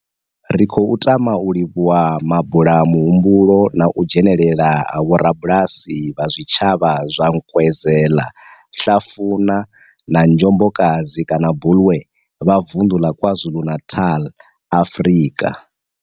Ri khou tama u livhuwa mabulamuhumbulo na u dzhenela ha vhorabulasi vha zwitshavha zwa Nkwezela, Hlafuna na Njobokazi kana Bulwer vha Vundu la KwaZulu-Natal, Afrika.